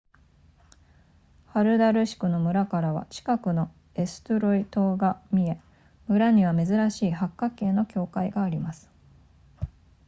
ハルダルシクの村からは近くのエストゥロイ島が見え村には珍しい八角形の教会があります